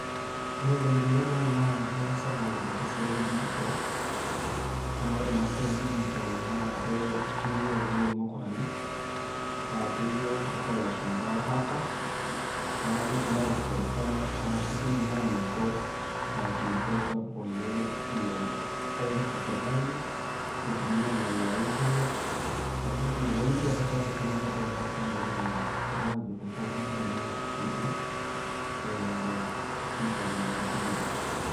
Kore golikinot naimaa oleng sirkali te siai edijital, naa kore masai edijital na ketumi oleng mukuralini. Naa Kejo ng'utuk e lashumpaa hackers .Naa kedimaa aikesesa arashu kidim ainoto enkilukoi sapuk oleng le pesa e sirkali netumia neinea internet .Neeku naing'ulita taatai sapuk ejiraa sirkali ajo kincho ntung'anak lenyenak siaitin eimu internet arashu dijital.